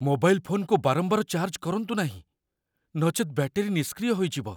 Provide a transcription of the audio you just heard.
Mobile ଫୋନକୁ ବାରମ୍ବାର charge କରନ୍ତୁ ନାହିଁ, ନଚେତ୍ ବ୍ୟାଟେରୀ ନିଷ୍କ୍ରିୟ ହୋଇଯିବ।